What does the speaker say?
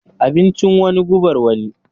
Abincin wani, gubar wani.